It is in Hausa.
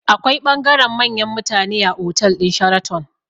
Akwai bangaren manyan mutane a otal ɗin sharaton